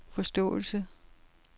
forståelse